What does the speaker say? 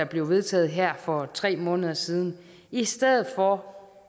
blev vedtaget her for tre måneder siden i stedet for